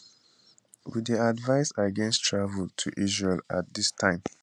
we dey advise against travel to israel at dis time